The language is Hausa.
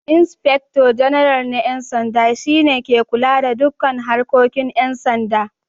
Inspector Janarnal na 'Yan Sanda shi ne ke kula da dukkan harkokin 'yan sanda